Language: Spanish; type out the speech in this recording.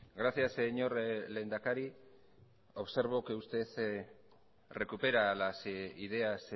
gracias señor lehendakari observo que usted recupera las ideas